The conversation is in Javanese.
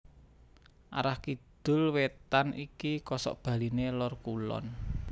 Arah kidul wétan iki kosokbaliné Lor Kulon